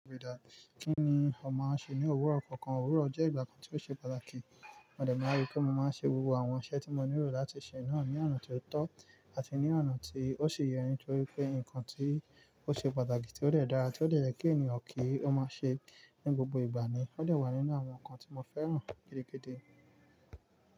Ríi dájú kí ni o máa ṣe ní òwúrọ̀ kankan. Òwúrọ̀ jẹ́ ìgbà kan tí ó ṣe pàtàkì. Mo dẹ̀ má rí pé mo máa ń ṣe gbogbo àwọn iṣẹ́ tí mo nílò láti ṣe náà ní àná tí ó tọ́ àti ní àná tí ó sì yẹ, nítorí pé nǹkan tí ó ṣe pàtàkì tí ó dẹ̀ dára, tí ó dẹ̀ yẹ kí ènìyàn kí ó máa ṣe. Ní gbogbo ìgbà ni ó dẹ̀ wà nínú àwọn ǹkan tí mo fẹ́ràn gidigidi.